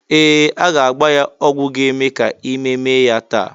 Ee! A ga-agba ya ọgwụ ga-eme ka ime mee ya taa.